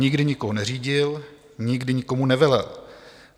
Nikdy nikoho neřídil, nikdy nikomu nevelel.